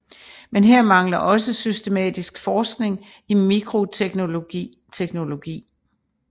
Men her mangler også systematisk forskning i mikroteknologi teknologi